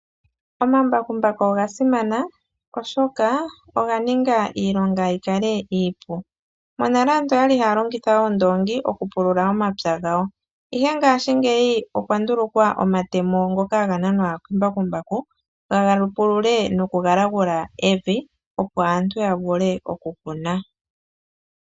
Omambakumbaku ogasimana oshoka oga ninga iilonga yikale iipu. Monale aantu oyali haya longitha oondoongi okupulula omapya gawo, ihe ngaashingeyi opwandulukwa omatemo ngoka haga nanwa kembakumbaku galungulule nokugalagula evi opo aantu yavule oku kuna.